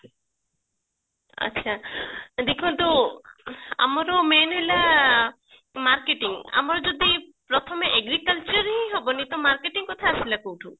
ଆଛା ଦେଖନ୍ତୁ ଆମର main ହେଲା marketing ଆମର ଯଦି ପ୍ରଥମେ agriculture ହିଁ ହବନି ତ marketing କଥା ଆସିଲା କୋଉଠୁ